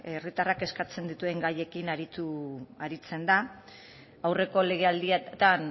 herritarrak kezkatzen dituen gaiekin aritzen da aurreko legealdian